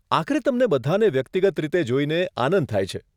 આખરે તમને બધાને વ્યક્તિગત રીતે જોઈને આનંદ થાય છે.